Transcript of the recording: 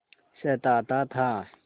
सताता था